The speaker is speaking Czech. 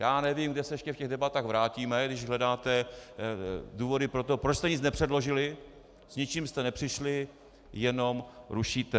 Já nevím, kam se ještě v těch debatách vrátíme, když hledáte důvody pro to, proč jste nic nepředložili, s ničím jste nepřišli, jenom rušíte.